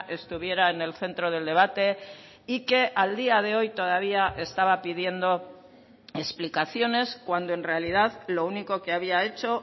estuviera en el centro del debate y que al día de hoy todavía estaba pidiendo explicaciones cuando en realidad lo único que había hecho